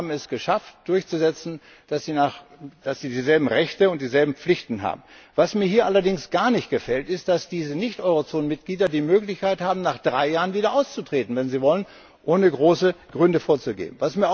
Und wir haben es geschafft, durchzusetzen, dass sie dieselben Rechte und dieselben Pflichten haben. Was mir hier allerdings gar nicht gefällt, ist, dass diese Nicht Eurozonenmitglieder die Möglichkeit haben, nach drei Jahren wieder auszutreten, wenn sie wollen, ohne groß Gründe anzugeben.